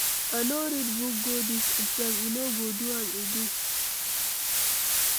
I no read book go dis exam. E no go do am again.